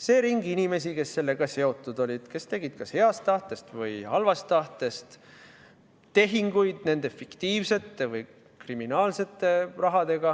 See ring inimesi, kes sellega seotud olid, kes tegid kas heast tahtest või halvast tahtest tehinguid nende fiktiivsete või kriminaalsete rahadega,